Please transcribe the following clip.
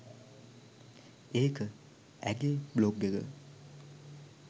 ඒක ඇගේ බ්ලොග් එක